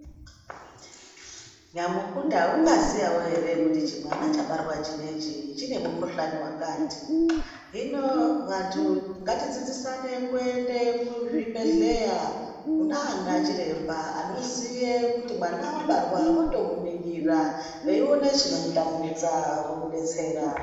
Nyamukuta ungaziyawo ere kuti chimwana chabarwa chinechi chine mukuhlani wakati . Hino vantu ngatidzidzisane kuende kuzvibhedhlera kunana chiremba anoziye kuti mwana wabarwa votomuningira veione chinomutambudza vomudetsera.